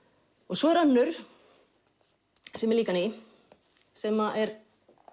svo er önnur sem er líka ný sem er